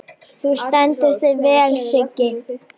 Þú stendur þig vel, Siggi!